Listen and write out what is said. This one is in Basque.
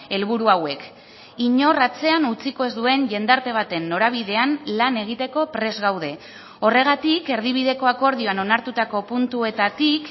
helburu hauek inor atzean utziko ez duen jendarte baten norabidean lan egiteko prest gaude horregatik erdibideko akordioan onartutako puntuetatik